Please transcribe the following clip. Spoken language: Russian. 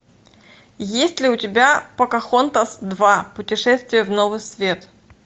есть ли у тебя покахонтас два путешествие в новый свет